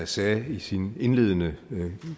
sagde i sin indledende og